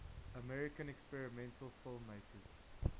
american experimental filmmakers